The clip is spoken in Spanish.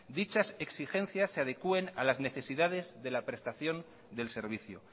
dichas exigencias se adecuen a las necesidades de la prestación del servicio